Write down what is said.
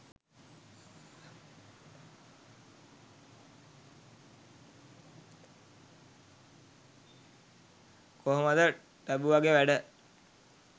කොහොමද ටැබුවගෙ වැඩ?